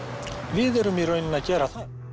við erum í raun að gera það